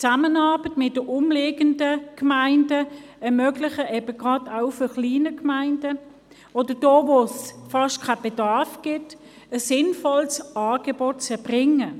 Die Zusammenarbeit mit den umliegenden Gemeinden ermöglicht es eben gerade auch kleinen Gemeinden oder solchen, in denen es fast keinen Bedarf gibt, ein sinnvolles Angebot zu erbringen.